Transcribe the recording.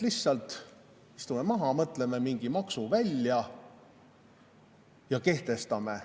Lihtsalt istume maha ja mõtleme mingi maksu välja ja kehtestame.